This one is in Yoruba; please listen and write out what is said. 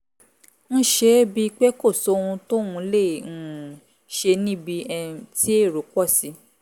ń ṣe é bíi pé kò sóhun tóun lè um ṣe níbi um tí èrò pọ̀ sí